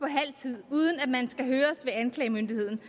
halv tid uden at man skal høres ved anklagemyndigheden